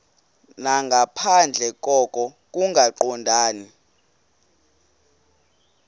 nangaphandle koko kungaqondani